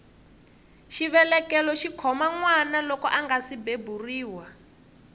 xivelekelo xikhoma nwana loko angasi beburiwa